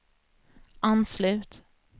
anslut